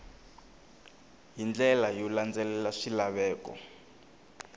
hi ndlela yo landzelela swilaveko